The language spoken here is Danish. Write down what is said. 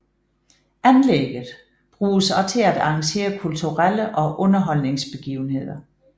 Anlægget bruges også til at arrangere kulturelle og underholdningsbegivenheder